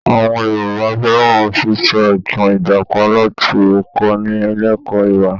Àwọn Yorùbá fẹ́ràn sísọ ìtàn Ìjàpá láti kọ́ni lẹ́kọ̀ọ́ ìwà